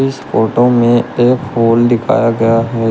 इस फोटो में एक पोल दिखाया गया हैं।